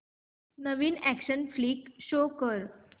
नवीन action flick show कर